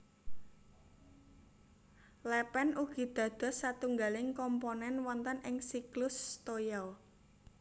Lèpèn ugi dados satunggaling komponèn wonten ing siklus toya